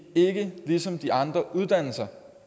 er ikke ligesom de andre uddannelser